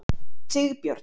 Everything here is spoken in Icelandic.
Sigbjörn